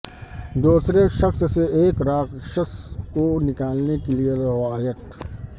دوسرے شخص سے ایک راکشس کو نکالنے کے لئے روایت